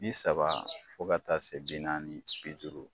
Bi saba fo ka taa se bi naani bi duuru.